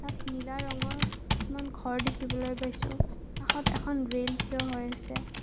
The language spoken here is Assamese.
নীলা ৰঙৰ কিছুমান ঘৰ দেখিবলৈ পাইছোঁ কাষত এখন ৰেল থিয় হৈ আছে।